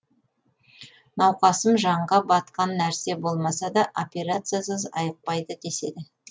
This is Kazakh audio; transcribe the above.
науқасым жанға батқан нәрсе болмаса да операциясыз айықпайды деседі